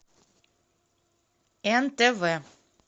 нтв